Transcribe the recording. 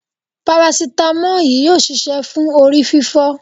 parasitamọ́ọ̀ yìí yóò ṣiṣẹ́ fún orí fífọ́.